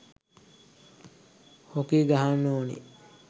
Hockey ගහන්න ඕනෙ.